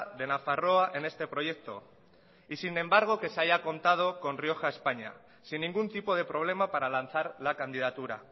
de nafarroa en este proyecto y sin embargo que se haya contado con rioja españa sin ningún tipo de problema para lanzar la candidatura